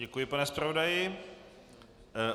Děkuji, pane zpravodaji.